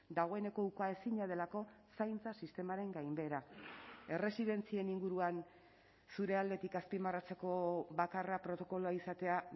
dagoeneko ukaezina delako zaintza sistemaren gainbehera erresidentzien inguruan zure aldetik azpimarratzeko bakarra protokoloa izatea